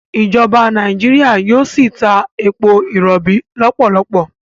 ìjọba Nàìjíríà yíò sí tá èpo irobi lopolopo.